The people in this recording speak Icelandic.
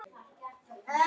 Það skiptir sköpum.